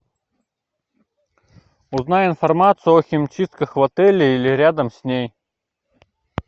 узнай информацию о химчистках в отеле или рядом с ней